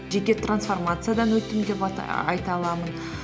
жеке трансформациядан өттім деп айта аламын